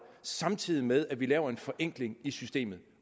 samtidig med at vi laver en forenkling i systemet